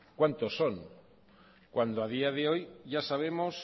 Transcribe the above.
cuántos son cuando a día de hoy ya sabemos